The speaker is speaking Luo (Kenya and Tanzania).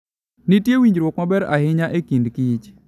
Nitie winjruok maber ahinya e kind kich.